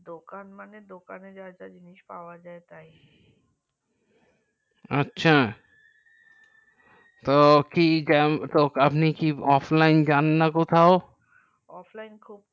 দোকান মানে দোকানে যাই বা জিনিস পাওয়া যাই তাই আচ্ছা তা কি আপনি কি যান না কোথাও offline খুব